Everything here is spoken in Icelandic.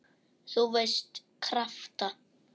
þú veist- krafta.